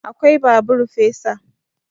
Akwai babur fesa